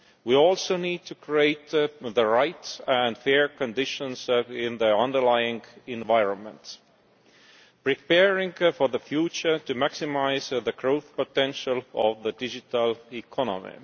We also need to create the right and fair conditions in the underlying environment, preparing for the future to maximise the growth potential of the digital economy.